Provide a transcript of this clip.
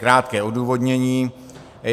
Krátké odůvodnění.